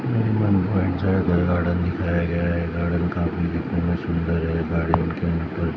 कोई गार्डन दिखाया गया है गार्डन काफी देखने में सुंदर है गार्डन के अंदर--